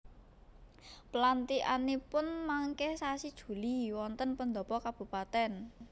Pelantikanipun mangke sasi Juli wonten pendhopo kabupaten